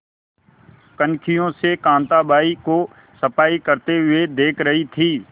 कनखियों से कांताबाई को सफाई करते हुए देख रही थी